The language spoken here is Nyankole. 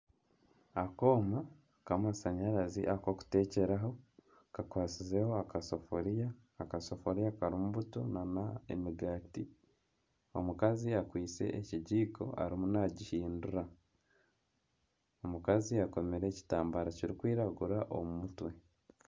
Akooma k'amashanyarazi ak'okuteekyeraho kakwatsize akasefuriya. Akasefurya karimu buto nana emigaati. Omukazi kwaitse ekigiiko arimu nagihindura. Omukazi akomire ekitambaara kirikwiragura omu mutwe.